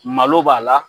Malo b'a la